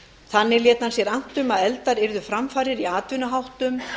þannig lét hann sér annt um að efldar yrðu framfarir í atvinnuháttum